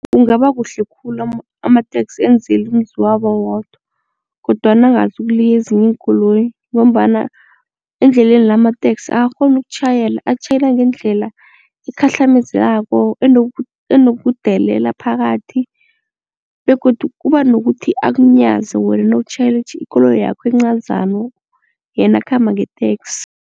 Kungaba kuhle khulu amateksi enzelwe umzi wabo wodwa kodwana angazukuliya ezinye iinkoloyi ngombana endleleni la amateksi akakghoni ukutjhayela, atjhayela ngendlela ekhahlamezekako enokudelela phakathi begodu kuba nokuthi akunyaze wena nawutjhayela ikoloyi yakho encazana yena akhamba ngeteksi.